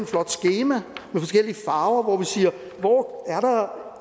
flot skema med forskellige farver hvor vi siger hvor er der